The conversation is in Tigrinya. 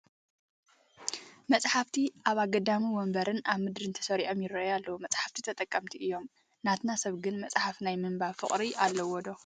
መፃሕፍቲ ኣብ ኣግዳሚ ወንበርን ኣብ ምድርን ተሰሪዖም ይርአዩ ኣለዉ፡፡ መፃሕፍቲ ጠቐምቲ እዮም፡፡ ናትና ሰብ ግን መፅሓፍ ናይ ምንባብ ፍቕሪ ኣለዎ ዶ?